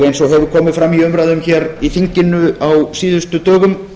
eins og hefur komið fram í umræðum hér í þinginu á síðustu dögum